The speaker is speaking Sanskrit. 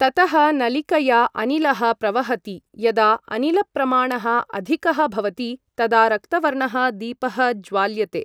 ततः नळिकया अनिलः प्रवहति यदा अनिलप्रमाणः अधिकः भवति तदा रक्तवर्णः दीपःज्वाल्यते